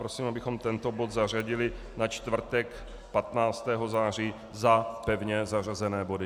Prosím, abychom tento bod zařadili na čtvrtek 15. září za pevně zařazené body.